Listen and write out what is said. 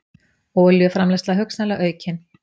Olíuframleiðsla hugsanlega aukin